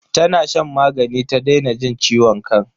Tana shan magani ta daina jin ciwon kan.